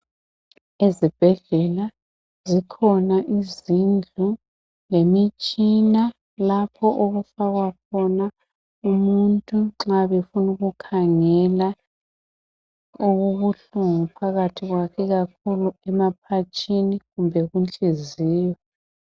Ezibhedlela zikhona izindlu lemitshina lapho okufakwa khona umuntu nxa befuna ukukhangela okubuhlungu phakathi kwakhe ikakhulu emaphatshini kumbe inhliziyo.